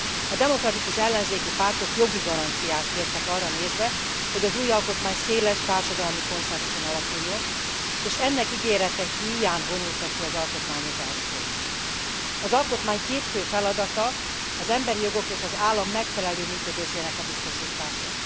A demokratikus ellenzéki pártok jogi garanciát kértek arra nézve, hogy az új alkotmány széles társadalmi konszenzuson alapuljon, és ennek ígérete híján vonultak ki az alkotmányozásból. Az alkotmány két fő feladata az emberi jogok és az állam megfelelő működésének a biztosítása.